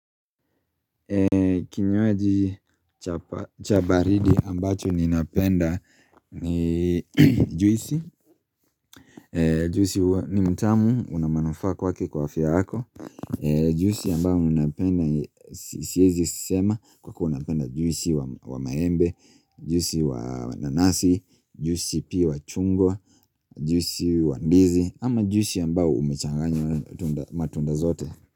Kinywaji cha baridi ambacho ninapenda ni juisi Juisi ni tamu na inanifa kwake kwa afya yako Juisi ambayo naipenda siezi sema, kwa kuwa napenda juisi wa maembe, juisi wa nanasi, juisi pi wa chungwa, juisi wa ndizi ama juisi ambao umechanganywa matunda zote.